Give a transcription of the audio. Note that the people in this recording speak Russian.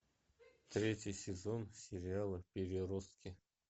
третий сезон сериала переростки